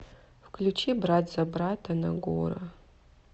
включи брат за брата нагора